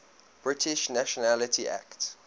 british nationality act